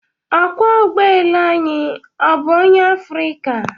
Okwọọ ụgbọ elu anyị ọ bụ onye Afrịka?